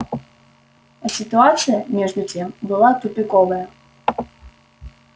а ситуация между тем была тупиковая